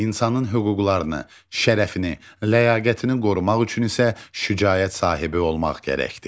İnsanın hüquqlarını, şərəfini, ləyaqətini qorumaq üçün isə şücaət sahibi olmaq gərəkdir.